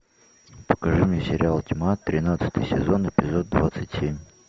покажи мне сериал тьма тринадцатый сезон эпизод двадцать семь